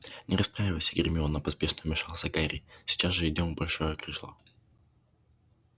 не расстраивайся гермиона поспешно вмешался гарри сейчас же идём в большое крыло